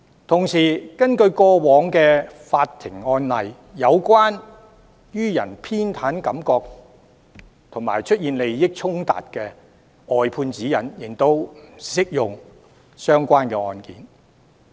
同時，根據過往的法庭案例，有關予人偏袒感覺及出現利益衝突的外判指引，亦適用於相關案件。